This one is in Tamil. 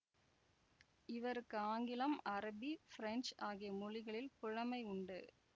இவருக்கு ஆங்கிலம் அரபி பிரஞ்சு ஆகிய மொழிகளில் புலமை உண்டு